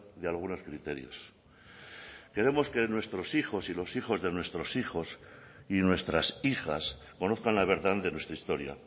de algunos criterios queremos que nuestros hijos y los hijos de nuestros hijos y nuestras hijas conozcan la verdad de nuestra historia